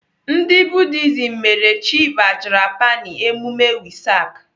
Ndị Buddhism mere Chi Vajrapāṇi emume Wesak.